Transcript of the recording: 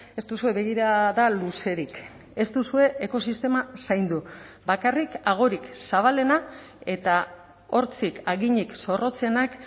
ez duzue begirada luzerik ez duzue ekosistema zaindu bakarrik agorik zabalena eta hortzik haginik zorrotzenak